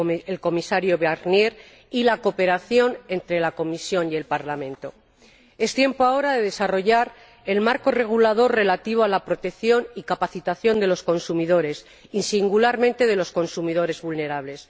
el Comisario Barnier y con la cooperación entre la Comisión y el Parlamento. Es tiempo ahora de desarrollar el marco regulador relativo a la protección y la capacitación de los consumidores y, singularmente, de los consumidores vulnerables.